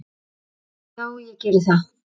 Já, ég geri það